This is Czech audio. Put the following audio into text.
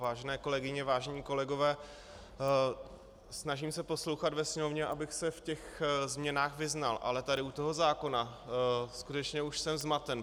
Vážené kolegyně, vážení kolegové, snažím se poslouchat ve sněmovně, abych se v těch změnách vyznal, ale tady u toho zákona skutečně už jsem zmaten.